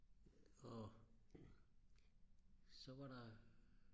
og så var der